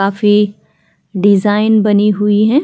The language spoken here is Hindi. काफ़ी डिजाईन बनी हुई है।